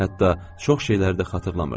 Hətta çox şeyləri də xatırlamırdı.